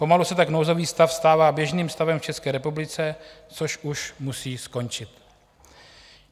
Pomalu se tak nouzový stav stává běžným stavem v České republice, což už musí skončit.